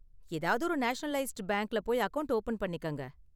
ஏதாவது ஒரு நேஷனலைஸ்டு பேங்க்ல போய் அக்கவுண்ட் ஓபன் பண்ணிக்கங்க